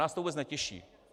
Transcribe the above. Nás to vůbec netěší.